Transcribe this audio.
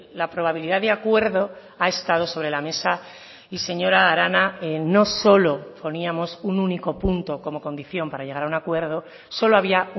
la probabilidad de acuerdo ha estado sobre la mesa y señora arana no solo poníamos un único punto como condición para llegar a un acuerdo solo había